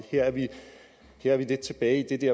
her lidt tilbage i det